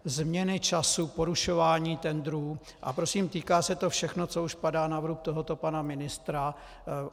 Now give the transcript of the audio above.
Změny času, porušování tendrů, a prosím, týká se to všechno, co už padá na vrub tohoto pana ministra.